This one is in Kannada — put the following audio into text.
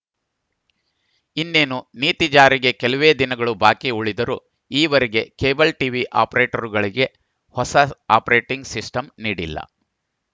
ಇನ್ನೇನು ನೀತಿ ಜಾರಿಗೆ ಕೆಲವೇ ದಿನಗಳು ಬಾಕಿ ಉಳಿದರೂ ಈವರೆಗೆ ಕೇಬಲ್‌ ಟಿವಿ ಅಪರೇಟರ್‌ಗಳಿಗೆ ಹೊಸ ಆಪರೇಟಿಂಗ್‌ ಸಿಸ್ಟಂ ನೀಡಿಲ್ಲ